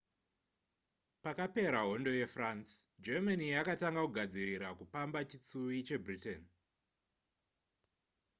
pakapera hondo yefrance germany yakatanga kugadzirira kupamba chitsuwi chebritain